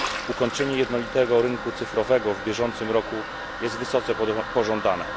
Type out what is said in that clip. Ukończenie jednolitego rynku cyfrowego w bieżącym roku jest wysoce pożądane.